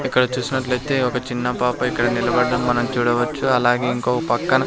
ఇక్కడ చూసినట్లు అయితే ఒక చిన్న పాప ఇక్కడ నిలబడడం మనం చూడవచ్చు అలాగే ఇంకో పక్కన.